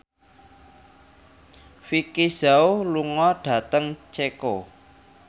Vicki Zao lunga dhateng Ceko